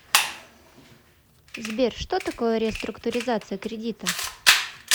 сбер что такое реструктуризация кредита